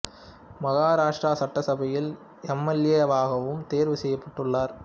மகாராஷ்டிரா சட்டசபையில் M L A வாகவும் தேர்வு செய்யப்பட்டுள்ளார்